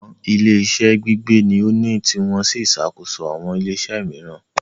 Àwọn ilé-iṣẹ́ Gbígbé ní o ni tí wọ́n sì ń ṣàkóso àwọn ilé-iṣẹ́ mìíràn